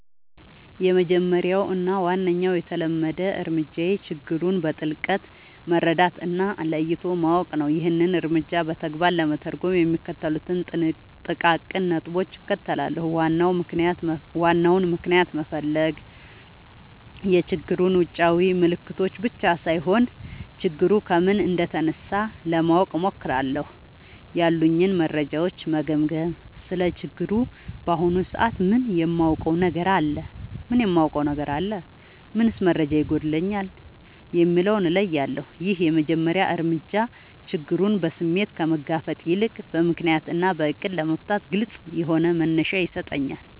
—የመጀመሪያው እና ዋነኛው የተለመደ እርምጃዬ ችግሩን በጥልቀት መረዳት እና ለይቶ ማወቅ ነው። ይህንን እርምጃ በተግባር ለመተርጎም የሚከተሉትን ጥቃቅን ነጥቦች እከተላለሁ፦ ዋናውን ምክንያት መፈለግ፣ የችግሩን ውጫዊ ምልክቶች ብቻ ሳይሆን፣ ችግሩ ከምን እንደተነሳ ለማወቅ እሞክራለሁ። ያሉኝን መረጃዎች መገምገም: ስለ ችግሩ በአሁኑ ሰዓት ምን የማውቀው ነገር አለ? ምንስ መረጃ ይጎድለኛል? የሚለውን እለያለሁ። ይህ የመጀመሪያ እርምጃ ችግሩን በስሜት ከመጋፈጥ ይልቅ በምክንያት እና በዕቅድ ለመፍታት ግልጽ የሆነ መነሻ ይሰጠኛል።